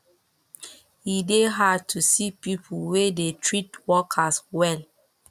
e dey hard to see pipo wey dey treat workers well